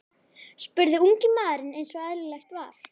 spurði ungi maðurinn eins og eðlilegt var.